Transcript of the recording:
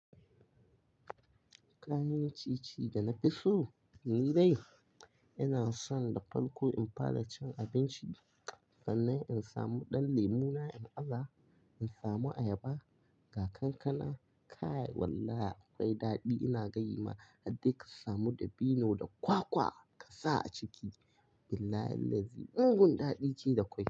Kayan ci ci da na fi so? Ni dai ina son da farko in fara cin abinci sannan in samu ɗan lemu na in aza, in samu ayaba ga kankana kaya wallahi akwai daɗi ina gani ma. Har dai ka samu dabino da kwakwa ka sa a ciki, billahi'l-lazi mungun daɗi ce da kwakwa.